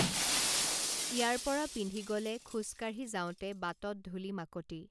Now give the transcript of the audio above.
ইয়াৰ পৰা পিন্ধি গলে খোজকাঢ়ি যাওঁতে বাটত ধূলি মাকতি